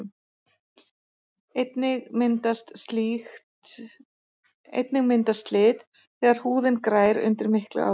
einnig myndast slit þegar húðin grær undir miklu álagi